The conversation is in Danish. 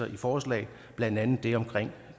i forslaget blandt andet det omkring